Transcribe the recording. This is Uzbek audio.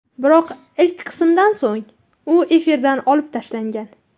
Biroq ilk qismidan so‘ng u efirdan olib tashlangan.